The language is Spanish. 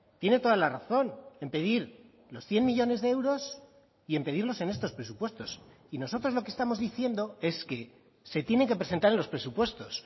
tiene toda la razón en pedir los cien millónes de euros y en pedirlos en estos presupuestos y nosotros lo que estamos diciendo es que se tiene que presentar en los presupuestos